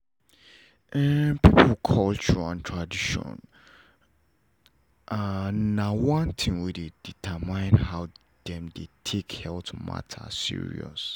people culture and traditions na one thing wey dey determine how them dey take health matter